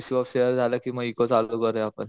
Issue off share झालं कि मग इको चालू करूया आपण.